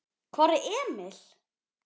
Hvar er Emil?